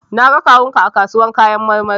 Na ga kawun ka a kasuwan kayan marmari.